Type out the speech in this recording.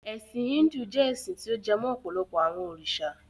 Ẹ̀sin Híndù jẹ́ ẹ́sin ti ó jẹ mó ọ̀pọ̀lọpọ àwọn òrìṣà.